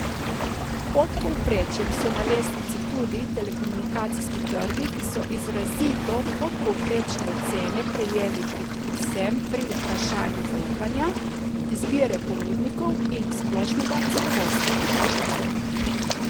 Pod povprečjem so na lestvici tudi telekomunikacijski trgi, ki so izrazito podpovprečne ocene prejeli predvsem pri vprašanju zaupanja, izbire ponudnikov in splošnega zadovoljstva potrošnikov.